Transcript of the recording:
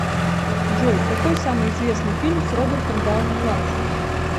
джой какой самый известный фильм с робертом дауни младшим